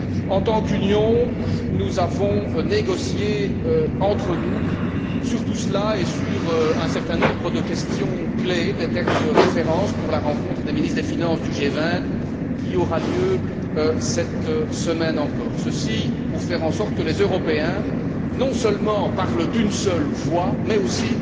En tant qu'Union, nous avons négocié entre nous sur tout cela et sur un certain nombre de questions clés, de termes de références pour la rencontre des ministres des finances du G20 qui aura lieu cette semaine encore, et ce pour faire en sorte que les Européens non seulement parlent d'une seule voix mais aussi